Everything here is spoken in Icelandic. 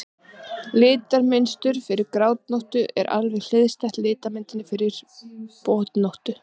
litamynstur fyrir grábotnóttu er alveg hliðstætt litamynstri fyrir botnóttu